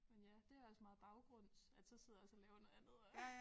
Men ja det også meget baggrunds at så sidder jeg også og laver noget andet og